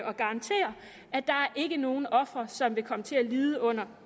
og garantere at der ikke er nogen ofre som vil komme til at lide under